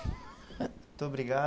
Muito obrigado.